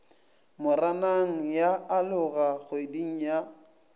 moranang ya aloga kgweding ya